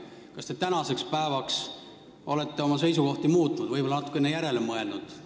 Kas te tänaseks päevaks olete oma seisukohti muutnud ja võib-olla natukene järele mõelnud?